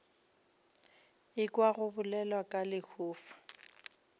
ekwa go bolelwa ka lehufa